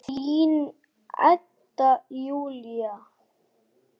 Blönduð beyging er tvenns konar